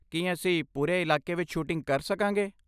ਕੀ ਅਸੀਂ ਪੂਰੇ ਇਲਾਕੇ ਵਿੱਚ ਸ਼ੂਟਿੰਗ ਕਰ ਸਕਾਂਗੇ?